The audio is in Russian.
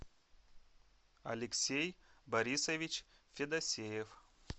алексей борисович федосеев